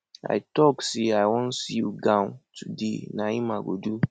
i talk say i wan sew gown today na im i go do